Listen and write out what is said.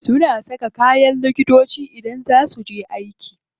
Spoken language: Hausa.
Suna saka kayan likitoci idan za su je aiki.